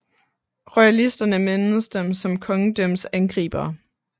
Royalisterne mindedes dem som kongedømmets angribere